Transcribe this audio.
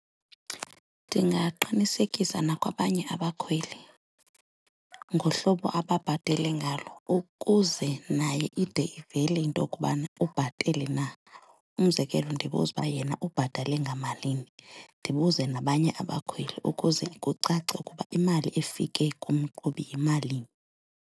Ndingaqinisekisa nakwabanye abakhweli ngohlobo ababhatale ngalo ukuze naye ide ivele into yokubana ubhatele na. Umzekelo ndibuze ukuba yena ubhatale ngamalini, ndibuze nabanye abakhweli ukuze kucace ukuba imali efike kumqhubi yimalini.